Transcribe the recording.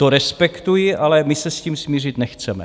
To respektuji, ale my se s tím smířit nechceme.